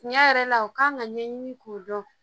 Tiɲɛ yɛrɛ la,u kan ka ɲɛɲini k'o dɔn